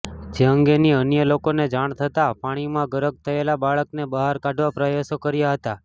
જે અંગેની અન્ય લોકોને જાણ થતાં પાણીમાં ગરક થયેલા બાળકને બહાર કાઢવા પ્રયાસો કર્યા હતા